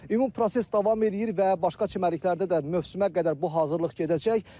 Ümumi proses davam eləyir və başqa çimərliklərdə də mövsümə qədər bu hazırlıq gedəcək.